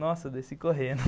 Nossa, eu desci correndo